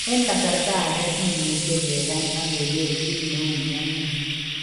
En aksarta age kimuche kegany ageger kit neu mioni.